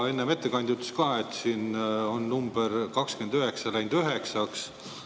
Enne ettekandja ütles ka, et siin on number 29 9‑ks.